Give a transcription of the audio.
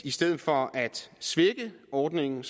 i stedet for at svække ordningen